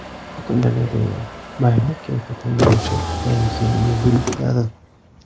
Fotogalereya: Bayram kayfiyatini beruvchi Yangi yil yeguliklari.